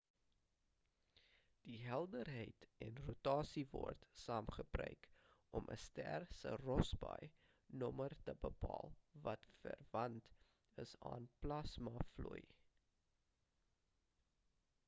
die helderheid en rotasie word saam gebruik om 'n ster se rossby nommer te bepaal wat verwant is aan plasma vloei